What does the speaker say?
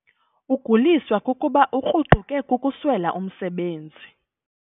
Uguliswa kukuba ukruquke kukuswela umsebenzi.